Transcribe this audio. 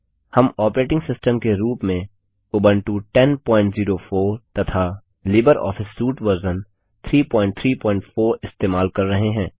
हम operating system के रूप में उबंटू 1004 तथा लिबर ऑफिस सूट वर्ज़न 334 इस्तेमाल कर रहे हैं